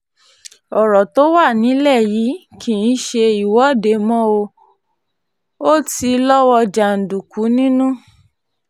ọ̀rọ̀ tó wà nílẹ̀ yìí kì í ṣe ìwọ́de mo ò ti lọ́wọ́ jàǹdùkú nínú